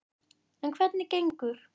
En hvernig gengur?